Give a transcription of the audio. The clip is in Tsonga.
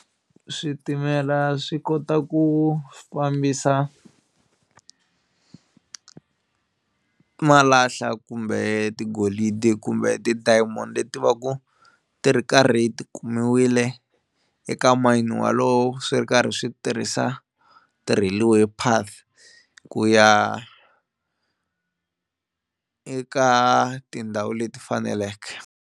Switimela swi kota ku fambisa malahla kumbe tigolidi kumbe ti-diamond leti va ku ti ri karhati ti kumiwile eka mayini walowo swi ri karhi swi tirhisa ti-railway path ku ya eka tindhawu leti faneleke.